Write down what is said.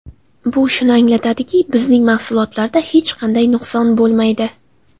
Bu shuni anglatadiki, bizning mahsulotlarda hech qanday nuqson bo‘lmaydi.